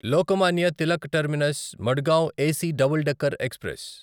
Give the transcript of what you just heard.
Lokmanya Tilak terminus Madgaon AC double decker express